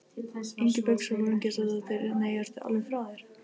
Ingibjörg Sólrún Gísladóttir: Nei, ertu alveg frá þér?